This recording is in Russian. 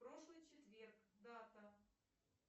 прошлый четверг дата